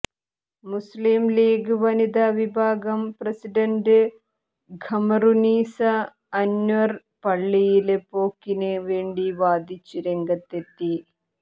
മുസ്ലിം League വനിതാ വിഭാഗം president Khamarunnisa Anwar പള്ളിയില് പോക്കിന് വേണ്ടി വാദിച്ച് രംഗത്തെത്തി